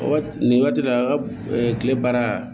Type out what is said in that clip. Waati nin waati de la a ka kile baara